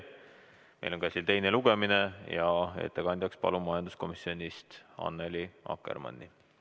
Meil on käsil teine lugemine ja ettekandjaks palun majanduskomisjonist Annely Akkermanni.